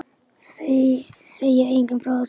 Segið engum frá þessu, takk.